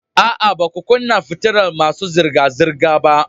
A'a, ba ku kunna fitilar masu zirga-zirga ba